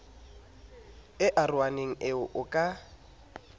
e arohaneng eo o ka